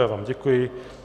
Já vám děkuji.